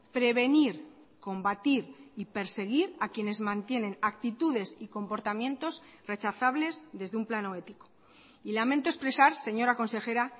prevenir combatir y perseguir a quienes mantienen actitudes y comportamientos rechazables desde un plano ético y lamento expresar señora consejera